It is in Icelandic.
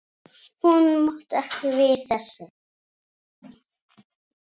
Hún mátti ekki við þessu.